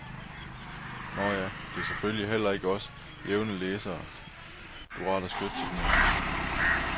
Nåh nej, det er selvfølgelig heller ikke os jævne læsere, du rettet skytset imod.